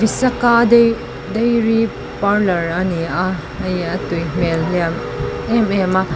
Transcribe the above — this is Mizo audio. visaka dai dairy parlour a ni a hei a tui hmel hliam em em a.